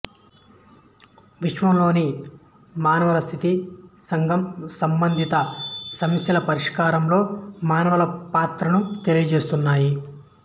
విశ్వంలోని మానవుల స్థితి సంఘం సంబంధిత సమస్యలపరిష్కారంలో మానవులపాత్రను తెలియజేస్తున్నాయి